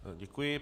Děkuji.